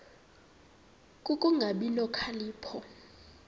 ku kungabi nokhalipho